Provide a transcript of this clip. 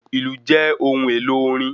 Ìlù jẹ́ ohun èlò orin